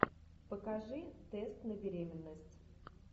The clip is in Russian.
покажи тест на беременность